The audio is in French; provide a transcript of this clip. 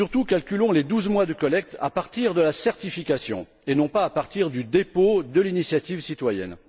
Calculons surtout les douze mois de collecte à partir de la certification et non à partir du dépôt de l'initiative citoyenne.